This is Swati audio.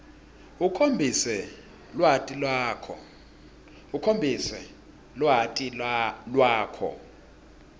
ukhombise lwati lwakho